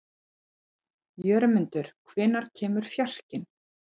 Jörmundur, hvenær kemur fjarkinn?